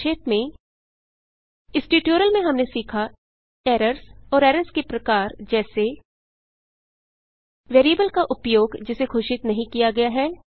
संक्षेप में इस ट्यूटोरियल में हमने सीखा एरर्स और एरर्स के प्रकार जैसे वेरिएबल का उपयोग जिसे घोषित नहीं किया गया है